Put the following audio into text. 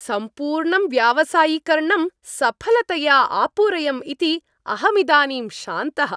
सम्पूर्णं व्यावसायिकर्णम् सफलतया आपूरयम् इति अहमिदानीं शान्तः।